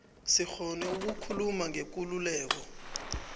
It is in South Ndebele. sikghone ukukhuluma ngekululeko